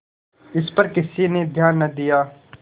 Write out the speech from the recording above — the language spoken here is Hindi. इस पर किसी ने ध्यान न दिया